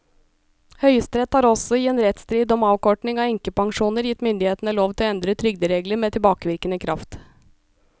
Høyesterett har også i en rettsstrid om avkorting av enkepensjoner gitt myndighetene lov til å endre trygderegler med tilbakevirkende kraft.